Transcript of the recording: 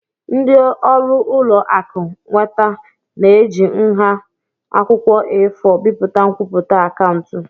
Ndị ọrụ ụlọ akụ nweta na-eji nha akwụkwọ A4 bipụta nkwupụta akaụntụ.